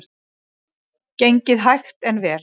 Gengið hægt en vel